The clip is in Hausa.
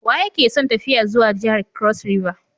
Waye ke son tafiya zuwa jihar kros riva?